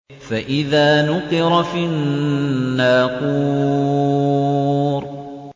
فَإِذَا نُقِرَ فِي النَّاقُورِ